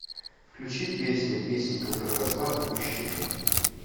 включи песня песенка про козла отпущения